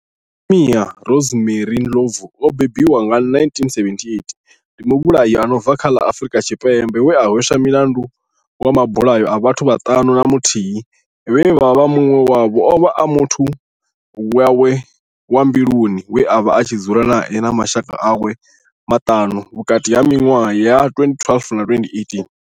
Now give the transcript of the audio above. Nomia Rosemary Ndlovu o bebiwaho nga, 1978, ndi muvhulahi a no bva kha ḽa Afurika Tshipembe we a hweswa mulandu wa mabulayo a vhathu vhaṱanu na muthihi vhane munwe wavho ovha a muthu wawe wa mbiluni we avha a tshi dzula nae na mashaka awe maṱanu - vhukati ha minwaha ya 2012 na 2018.